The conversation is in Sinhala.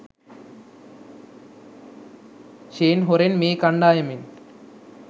ෂේන් හොරෙන් මේ කණ්ඩායමෙන්